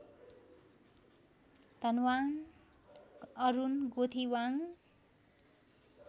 Dhanwang Arun Gothiwang